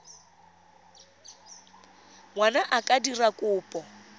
ngwana a ka dira kopo